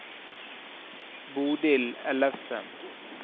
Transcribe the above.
Bodil Ellefsen